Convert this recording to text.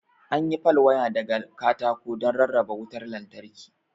An yi pal waya daga katako don rarraba wutar lantarki.